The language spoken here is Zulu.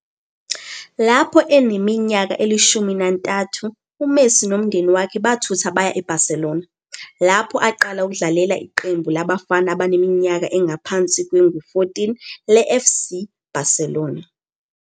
Lapho eneminyaka eli-13, uMessi nomndeni wakhe bathutha baya eBarcelona, lapho aqala ukudlalela iqembu labafana abaneminyaka engaphasi kwengu-14 leFC Barcelona.